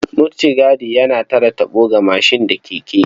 Mutigadi yana tare taɓo ga mashin da keke.